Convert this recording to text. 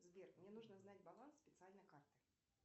сбер мне нужно знать баланс специальной карты